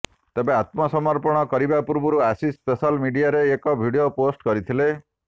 ତେବେ ଆତ୍ମସମର୍ପଣ କରିବା ପୂର୍ବରୁ ଆଶିଷ ସୋଶାଲ୍ ମିଡିଆରେ ଏକ ଭିଡିଓ ପୋଷ୍ଟ କରିଥିଲେ